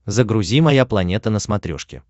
загрузи моя планета на смотрешке